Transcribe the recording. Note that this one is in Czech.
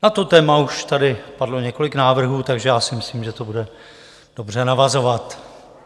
Na to téma už tady padlo několik návrhů, takže já si myslím, že to bude dobře navazovat.